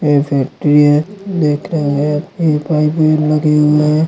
ये फ़ैक्टरि है दिख रहे है ये पाइपे लगी हुई है।